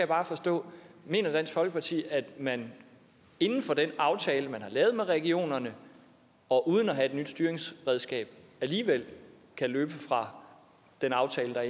bare forstå mener dansk folkeparti at man inden for den aftale man har lavet med regionerne og uden at have et nyt styringsredskab alligevel kan løbe fra den aftale der